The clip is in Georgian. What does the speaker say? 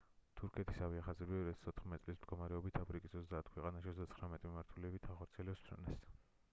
თურქეთის ავიახაზები 2014 წლის მდგომარეობით აფრიკის 30 ქვეყანაში 39 მიმართულებით ახორციელებს ფრენებს